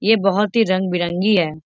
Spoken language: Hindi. ये बहुत ही रंग बिरंगी है।